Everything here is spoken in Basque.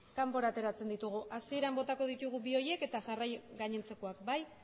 kanpora ateratzen ditugu hasieran botako ditugu bi horiek eta jarraian gainontzekoak bai